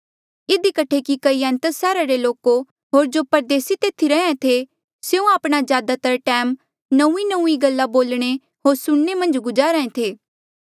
इधी कठे कि कई एथेंस सैहरा रे लोको होर जो परदेसी तेथी रैंहयां थे स्यों आपणा ज्यादातर टैम नौंईंनौंईं गल्ला बोलणे होर सुणने मन्झ गुजार्हा ऐें थे